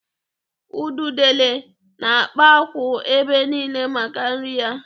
Ududele na-akpa akwụ̀ ebe niile maka nri ya.